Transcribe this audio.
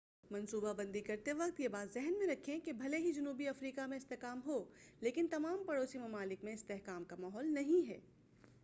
منصوبہ بندی کرتے وقت یہ بات ذہن میں رکھیں کہ بھلے ہی جنوبی افریقہ میں استحکام ہو لیکن تمام پڑوسی ممالک میں استحکام کا ماحول نہیں ہے